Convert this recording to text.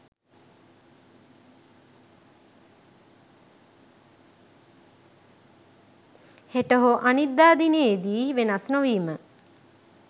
හෙට හෝ අනිද්දා දිනයේ දී වෙනස් නොවිම